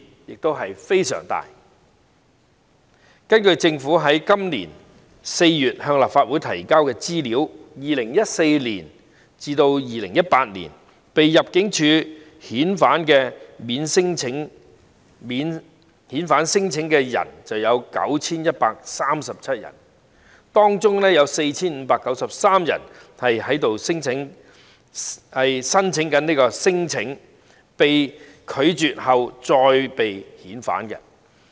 根據政府在今年4月向立法會提交的資料，在2014年至2018年被入境事務處遣返的免遣返聲請的人有 9,137 人，當中 4,593 人是免遣返聲請被拒絕後被遣返的。